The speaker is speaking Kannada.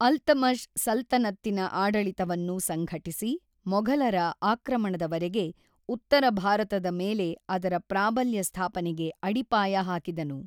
ಅಲ್ತಮಷ್ ಸಲ್ತನತ್ತಿನ ಆಡಳಿತವನ್ನು ಸಂಘಟಿಸಿ, ಮೊಘಲರ ಆಕ್ರಮಣದವರೆಗೆ ಉತ್ತರ ಭಾರತದ ಮೇಲೆ ಅದರ ಪ್ರಾಬಲ್ಯ ಸ್ಥಾಪನೆಗೆ ಅಡಿಪಾಯ ಹಾಕಿದನು.